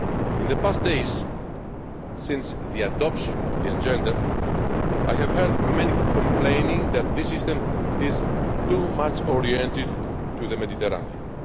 In the past few days, since the adoption of the Agenda, I have heard many complaining that this system is far too oriented to the Mediterranean.